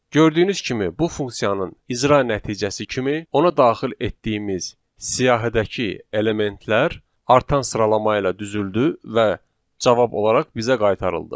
Gördüyünüz kimi, bu funksiyanın icra nəticəsi kimi ona daxil etdiyimiz siyahidəki elementlər artan sıralama ilə düzüldü və cavab olaraq bizə qaytarıldı.